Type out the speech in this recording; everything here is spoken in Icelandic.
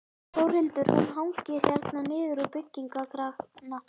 Þórhildur: Hún hangir hérna niður úr byggingakrana?